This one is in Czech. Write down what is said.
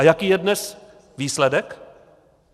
A jaký je dnes výsledek?